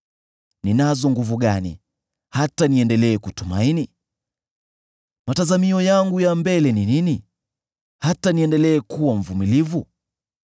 “Ninazo nguvu gani, hata niendelee kutumaini? Matazamio yangu ya mbele ni nini, hata niendelee kuwa mvumilivu?